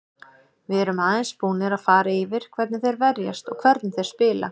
Við erum aðeins búnir að fara yfir hvernig þeir verjast og hvernig þeir spila.